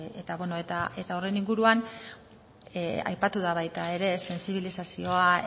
eta horren inguruan aipatu da baita ere sentsibilizazioa